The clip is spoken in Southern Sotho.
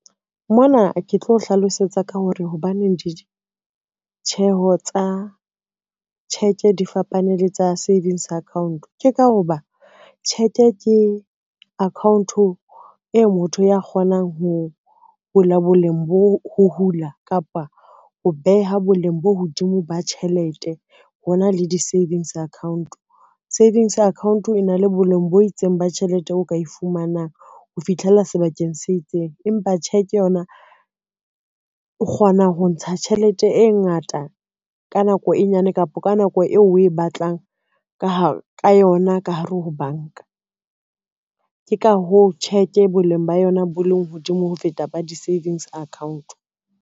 Mona ke tlo hlalosetsa ka hore hobaneng ditjheho tsa cheque di fapane le tsa savings account. Ke ka ho ba cheque ke account-o e motho ya kgonang ho hula kapa ho beha boleng bo hodimo ba tjhelete hona le di-savings account. Savings account e na le boleng bo itseng ba tjhelete o ka e fumanang ho fitlhela sebakeng se itseng, empa cheque yona o kgona ho ntsha tjhelete e ngata ka nako e nyane kapa ka nako eo o e batlang ka yona ka hare ho banka. Ke ka hoo cheque boleng ba yona bo leng hodimo ho feta ba di-savings account.